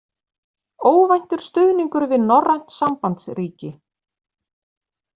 Óvæntur stuðningur við norrænt sambandsríki